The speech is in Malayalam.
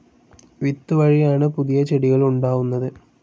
വിത്തുവഴിയാണ് പുതിയ ചെടികൾ ഉണ്ടാവുന്നത്.